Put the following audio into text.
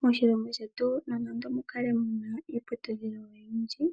Moshilongo shetu nando mukale muna iiputudhilo oyindji,